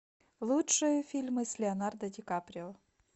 лучшие фильмы с леонардо ди каприо